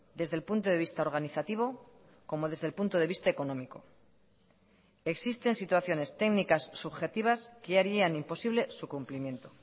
desde el punto de vista organizativo como desde el punto de vista económico existen situaciones técnicas subjetivas que harían imposible su cumplimiento